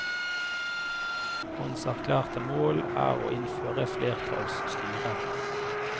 Hans erklærte mål er å innføre flertallsstyre.